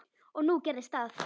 Og nú gerðist það.